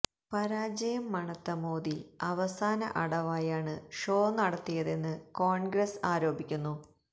പരാജയം മണത്ത മോദി അവസാന അടവായാണ് ഷോ നടത്തിയതെന്ന് കോണ്ഗ്രസ് ആരോപിക്കുന്നു